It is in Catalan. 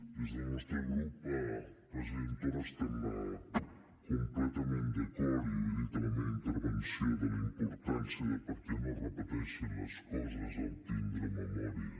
des del nostre grup president torra estem completament d’acord i ho he dit a la meva intervenció en la importància de perquè no es repeteixin les coses tindre memòria